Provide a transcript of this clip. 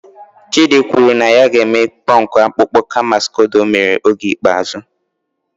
Chidi kwuru na ya ga-eme punk akpụkpọ kama skodo o mere oge ikpeazụ